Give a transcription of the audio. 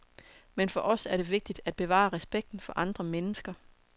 Men for os er det vigtigt at bevare respekten for andre mennesker.